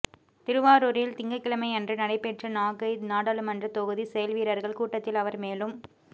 திருவாரூரில் திங்கட்கிழமையன்று நடைபெற்ற நாகை நாடாளுமன்ற தொகுதி செயல்வீரர்கள் கூட்டத்தில் அவர் மேலும்